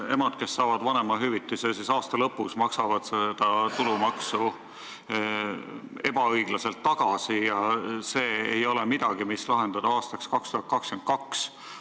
Emad, kes saavad vanemahüvitise aasta lõpus, maksavad sellelt tulumaksu ebaõiglaselt tagasi ja see ei ole tõesti probleem, mis tuleks lahendada alles aastaks 2022.